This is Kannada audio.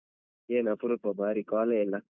ಏನ್ ಅಪರೂಪ ಬಾರಿ call ಎ ಇಲ್ಲ?